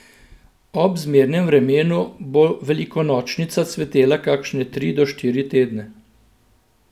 Ob zmernem vremenu bo velikonočnica cvetela kakšne tri do štiri tedne.